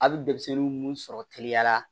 A bɛ denmisɛnnin mun sɔrɔ teliya la